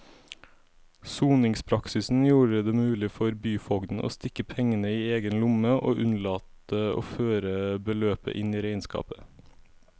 Soningspraksisen gjorde det mulig for byfogden å stikke pengene i egen lomme og unnlate å føre beløpet inn i regnskapet.